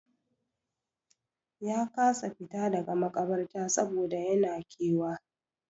Ya kasa fita daga maƙabarta saboda yan na kewa.